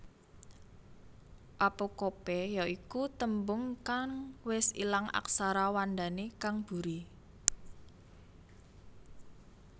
Apocope ya iku tembung kang wis ilang aksara wandané kang buri